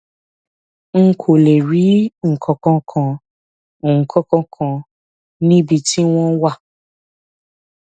n kò lè rí nǹkan kan nǹkan kan níbi tí wọn wà